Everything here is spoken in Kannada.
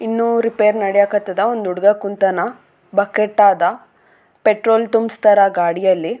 ಇನ್ನೂ ರಿಪೇರ್ ನಡಯಕತ್ತಾದ ಒಂದು ಹುಡ್ಗ ಕುಂತಾನ ಬಕ್ಕೆಟ್ಟ್ ಆದ ಪೆಟ್ರೋಲ್ ತುಂಬ್ಸ್ತಾರ ಗಾಡಿಯಲ್ಲಿ.